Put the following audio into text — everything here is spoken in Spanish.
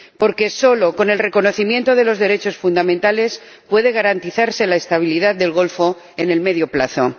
Porque solo con el reconocimiento de los derechos fundamentales puede garantizarse la estabilidad del Golfo a medio plazo.